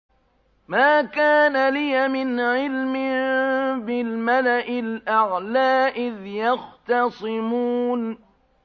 مَا كَانَ لِيَ مِنْ عِلْمٍ بِالْمَلَإِ الْأَعْلَىٰ إِذْ يَخْتَصِمُونَ